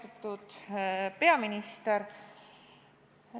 Austatud peaminister!